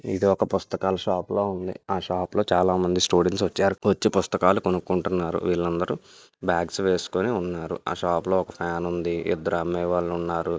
ఇది ఒక పుస్తకాల షాప్ లా ఉంది. ఆ షాప్ లో చాలామంది స్టూడెంట్స్ వచ్చారు. వచ్చి మంచి పుస్తకాలు కొనుక్కుంటున్నారు వీళ్ళందరూ బ్యాగ్స్ వేసుకొని ఉన్నారు. ఆ షాప్ లో ఒక ఫ్యాన్ ఉంది. ఇద్దరు అమ్మాయి వాళ్ళు ఉన్నారు.